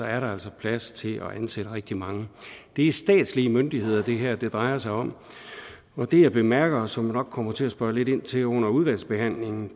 er der altså plads til at ansætte rigtig mange det er statslige myndigheder det her drejer sig om og det jeg bemærker og som jeg nok kommer til at spørge lidt ind til under udvalgsbehandlingen